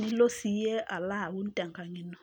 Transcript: nilo sii iyie olo aun te nkang' ino.